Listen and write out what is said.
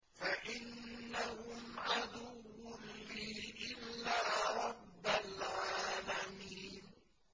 فَإِنَّهُمْ عَدُوٌّ لِّي إِلَّا رَبَّ الْعَالَمِينَ